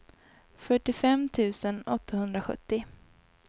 fyrtiofem tusen åttahundrasjuttio